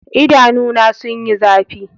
Idanuna sun yi zafi.